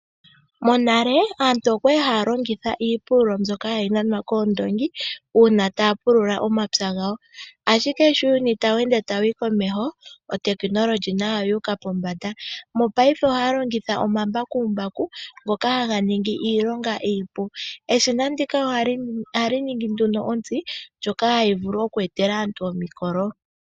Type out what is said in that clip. Monale aantu oya li haya longitha iipululo mbyoka hayi nanwa koondoongi, uuna taya pulula omapya gawo. Ashike sho uuyuni tawu ende wu uka komeho, otekinolohi nayo oyu uka pombanda. Mopaife ohaya longitha omambakumbaku ngoka haga ningi iilonga iipu. Eshina ndika ohali ningi nduno ontsi, ndjoka hayi vulu oku etela aantu omikolo.